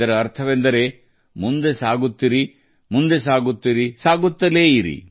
ಇದರರ್ಥ ಮುನ್ನಡೆಯುತ್ತಿರಿ ಮುನ್ನಡೆಯುತ್ತಿರಿ ಎಂದು